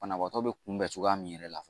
Banabaatɔ be kunbɛn cogoya min yɛrɛ la